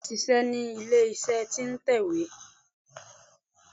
Bẹ́ẹ̀ni mò n ṣíṣẹ ní ilé iṣẹ́ tí n tẹ̀wé